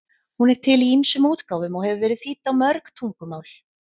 Hún er til í ýmsum útgáfum og hefur verið þýdd á mörg tungumál.